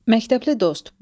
Məktəbli dost.